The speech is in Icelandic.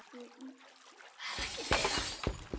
Það er ekki friðað.